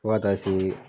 Fo ka taa se